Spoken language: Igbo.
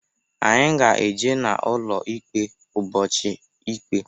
Anyị ga-eje n'ụlọ ikpe ụbọchị ikpe.